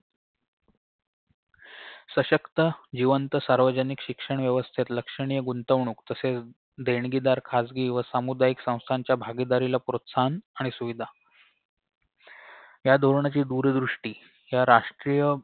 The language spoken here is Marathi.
सशक्त जिवंत सार्वजनिक शिक्षण व्यवस्थेत लक्षणीय गुंतवणूक तसेच देणगीदार खासगी व सामुदायिक संस्थांच्या भागीदारीला प्रोत्साहन आणि सुविधा या धोरणाची दूरदृष्टी ह्या राष्ट्रीय